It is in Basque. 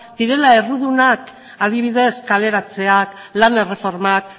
direla errudunak adibidez kaleratzeak lan erreformak